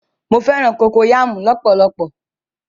Mọ fẹ̀ràn kokoyàmú lọ̀pọ̀lọ̀pọ̀.